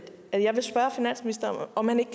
spørge finansministeren om han ikke